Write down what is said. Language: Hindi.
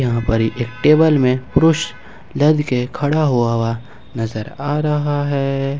यहां पर एक टेबल में पुरुष लद के खड़ा हुआ हुआ नजर आ रहा है।